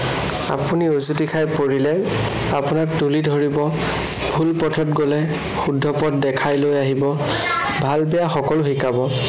আপুনি উজুটি খাই পৰিলে আপোনাক তুলি ধৰিব, ভুল পথত গলে শুদ্ধ পথ দেখাই লৈ আহিব। ভাল বেয়া সকলো শিকাব।